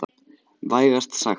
Vægast sagt.